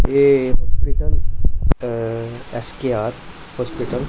ये हॉस्पिटल अं S K R hospital --